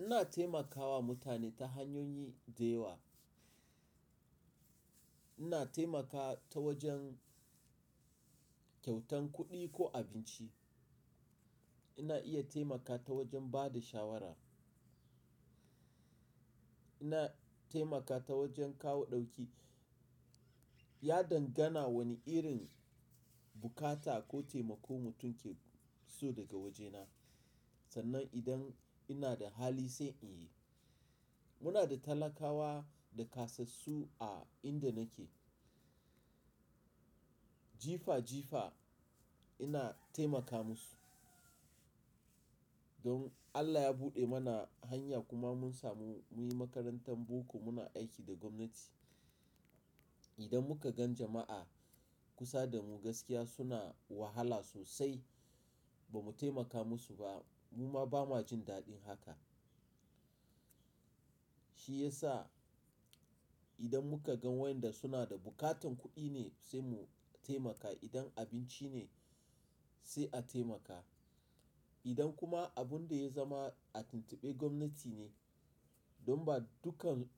Ina taimakawa mutane ta hanyoyi da yawa. Ina taimakawa ta wajen kyautan kuɗi ko abinci. Ina iya taimakawa ta wajen ba da shawara. Ina taimakawa ta wajen kawo ɗauki. Ya dangana wane irin bukata ko taimako mutum ke so daga wajena, sannan idan ina da hali sai in yi. Muna da talakawa da kasassu a inda nake. Jifa jifa ina taimaka musu. Don Allah ya buɗe mana hanya kuma mun samu munyi makarantar boko muna aiki da gwamnati. Idan muka gan jama'a kusa da mu gaskiya suna wahala sosai ba mu taimaka musu ba, mu ma ba ma jin daɗin haka. Shi ya sa idan muka gan wainda suna da buƙatan kuɗi ne sai mu taimaka, idan abinci ne sai a taimaka. Idan kuma abun da ya zama a tuntuɓe gwamnati ne, don ba dukkan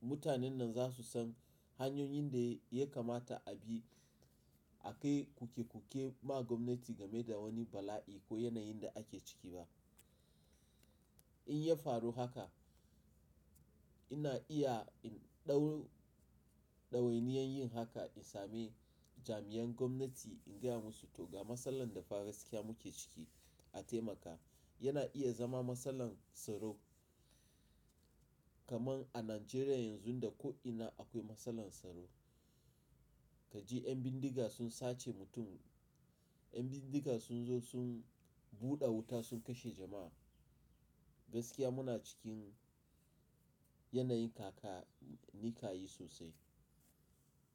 mutanen nan za su san hanyoyin da ya kamata a bi a kai kuke kuke ma gwamnati game da wani bala'i ko yanayin da ake ciki ba. In ya faru haka, ina iya in ɗau-- ɗawainiyar yin haka in sami jami'an gwamnati in gaya musu to ga masalan da fa gaskiya muke ciki a taimaka. Yana iya zama masalan tsaro. Kaman a Najeriya yanzu da ko'ina akwai masalan tsaro. Ka ji 'yan bindiga sun sace mutum, 'yan bindiga sun zo sun buɗe wuta sun kashe jama'a. Gaskiya muna cikin yanayin kaka-- nikayi sosai.